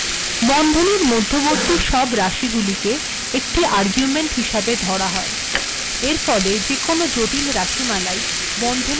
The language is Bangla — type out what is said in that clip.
বন্ধনীর মধ্যবর্তী সব রািশগুিলেক একিট আর্গুেমন্ট িহসােব ধরা হয় এরফেল েযেকোনো জিটল রািশমালাই বন্ধনীর মােঝ েলখা যায়